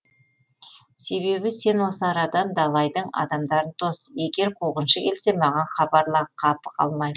себебі сен осы арадан далайдың адамдарын тос егер қуғыншы келсе маған хабарла қапы қалмайық